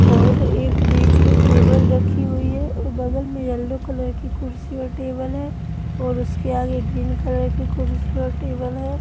और एक बीच में टेबल रखी हुई है और बगल में येलो कलर की कुर्सी और टेबल है और उसके आगे ग्रीन कलर की कुर्सी और टेबल है।